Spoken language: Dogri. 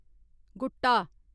गुट्टा